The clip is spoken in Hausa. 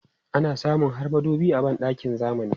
Ana samun har madubi a ban ɗakin zamani.